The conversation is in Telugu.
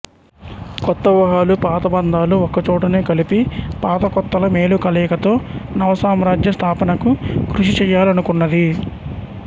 కొత్త వూహలు పాత బంధాలు ఒక్క చోటనే కలిపి పాత కొత్తల మేలు కలయికతో నవసామ్రాజ్యస్థాపనకు కృషి చెయ్యలనుకున్నది